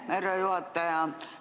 Aitäh, härra juhataja!